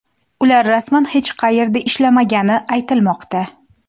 Ular rasman hech qayerda ishlamagani aytilmoqda.